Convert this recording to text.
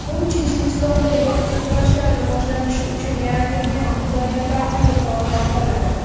U Chechenistonda yakkakurashlar rivojlanishi uchun yaratilgan imkoniyatlarni yuqori baholadi.